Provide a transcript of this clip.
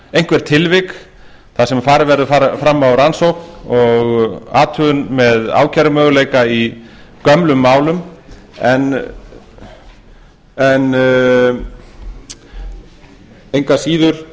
einhver tilvik þar sem farið verður fram á rannsókn og athugun með ákærumöguleika í gömlum málum en engu að síður